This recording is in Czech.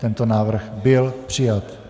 Tento návrh byl přijat.